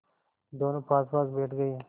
दोेनों पासपास बैठ गए